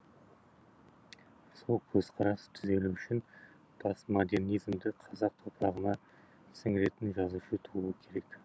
сол көзқарас түзелу үшін постмодернизмді қазақ топырағына сіңіретін жазушы тууы керек